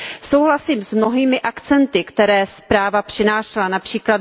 Souhlasím s mnohými akcenty, které zpráva přinášela, např.